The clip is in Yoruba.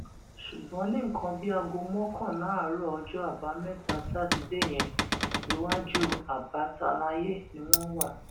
ṣùgbọn ní nǹkan bíi aago mọkànlá àárọ ọjọ àbámẹta sátidé yẹn iwájú abbatalaye ni wọn wà